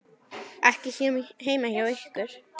Ekki heima hjá ykkur.